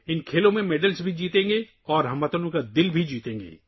ہم ان کھیلوں میں تمغے جیتیں گے اور اہل وطن کے دل بھی جیتیں گے